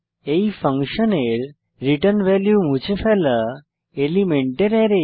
এই ফাংশনের return value মুছে ফেলা এলিমেন্টের অ্যারে